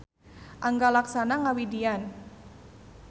Angga Laksana ngawidian.